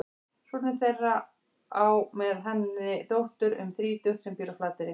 Sonur þeirra á með henni dóttur um þrítugt sem býr á Flateyri.